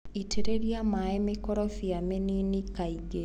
itĩrĩria maĩ mĩkorobia mĩnini kaingĩ.